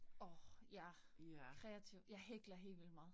Orh ja. Kreativ, jeg hækler helt vildt meget